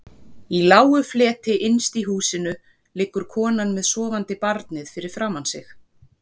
Í lágu fleti innst inni í húsinu liggur konan með sofandi barnið fyrir framan sig.